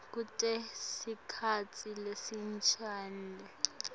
kute sikhatsi lesincunyelwe